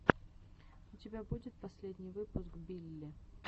у тебя будет последний выпуск билли